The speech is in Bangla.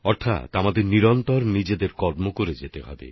অর্থাৎ আমাদের নিরন্তর নিজেদের কাজ করে যেতে হবে